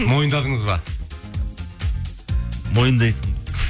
мойындадыңыз ба мойындайсың